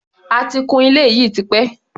A ti kun ilé yìí tipẹ́.